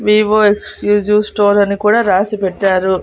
Vivo exclusive store అని కూడా రాసి పెట్టారు.